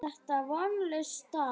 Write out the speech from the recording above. Er þetta vonlaus staða?